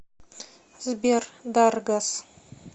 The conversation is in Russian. сбер даргас